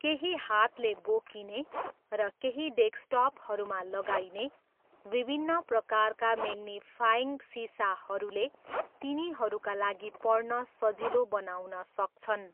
केही हातले बोकिने, र केही डेस्कटपहरूमा लगाइने, विभिन्न प्रकारका म्याग्निफाइङ्ग सिसाहरूले, तिनीहरूका लागि पढ्न सजिलो बनाउन सक्छन्।